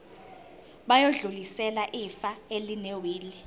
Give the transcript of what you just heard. bayodlulisela ifa elinewili